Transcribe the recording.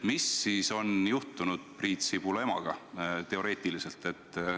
Mis siis on juhtunud Priit Sibula emaga?